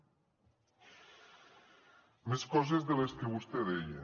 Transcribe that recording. més coses de les que vostè deia